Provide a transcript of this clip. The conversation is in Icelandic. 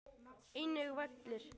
Einnig vellir.